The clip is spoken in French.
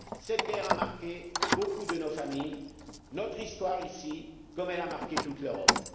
Cette guerre a marqué beaucoup de nos familles et notre histoire ici, comme elle a marqué toute l'Europe.